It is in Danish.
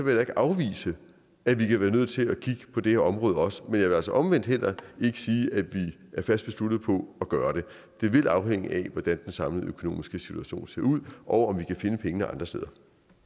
jeg da ikke afvise at vi kan være nødt til at kigge på det her område også men vil altså omvendt heller ikke sige at vi er fast besluttet på at gøre det det vil afhænge af hvordan den samlede økonomiske situation ser ud og om vi kan finde pengene andre steder